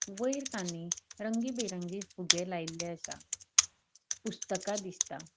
वयर तानी रंगी बिरंगी फुगे लायल्ले आसा पुस्तका दिसता.